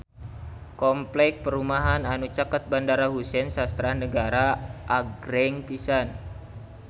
Kompleks perumahan anu caket Bandara Husein Sastra Negara agreng pisan